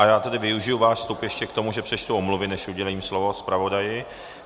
A já tedy využiji váš vstup ještě k tomu, že přečtu omluvy, než udělím slovo zpravodaji.